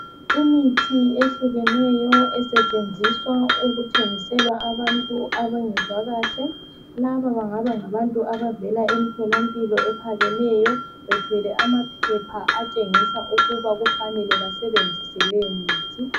Imithi ehlukeneyo esetshenziswa ukuthengisela abantu abangezwa kahle, laba bengaba ngabantu abavela emtholampilo ephakemeyo bethwele amaphepha atshengisa ukuba kufanele basebenzise leyo mithi.